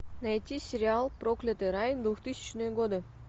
найти сериал проклятый рай двухтысячные годы